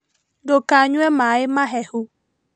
Ndũkanyue maaĩ mahehu